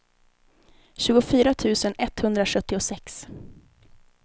tjugofyra tusen etthundrasjuttiosex